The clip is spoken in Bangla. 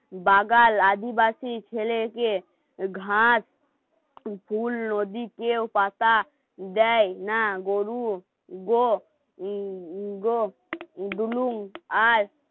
বাগাল আদিবাসী ছেলেকে ঘাত, কুকুর, নদী, কেউ পাতা দেয় না গরু দুলুম